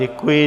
Děkuji.